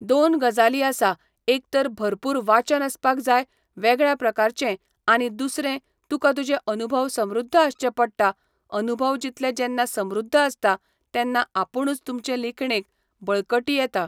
दोन गजाली आसा एक तर भरपूर वाचन आसपाक जाय वेगळ्या प्रकारचें आनी दुसरें तुका तुजें अनुभव समृध्द आसचे पडटा अनुभव जितले जेन्ना समृध्द आसता तेन्ना आपुणूच तुमचे लिखणेक बळकटी येता